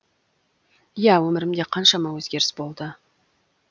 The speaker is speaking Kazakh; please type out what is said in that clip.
иә өмірімде қаншама өзгеріс болды